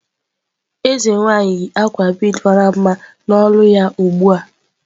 Eze nwanyị yi akwa bead mara mma n'olu ya ugbu a.